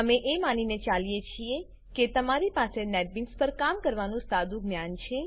અમે એ માનીને ચાલીએ છીએ કે તમારી પાસે નેટબીન્સ પર કામ કરવાનું સાદું જ્ઞાન છે